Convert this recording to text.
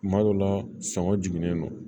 Kuma dɔ la sɔngɔ jiginnen don